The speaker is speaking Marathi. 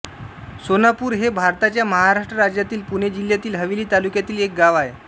सोनापूर हे भारताच्या महाराष्ट्र राज्यातील पुणे जिल्ह्यातील हवेली तालुक्यातील एक गाव आहे